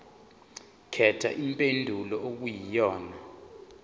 khetha impendulo okuyiyona